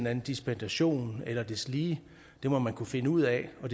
anden dispensation eller deslige må man kunne finde ud af og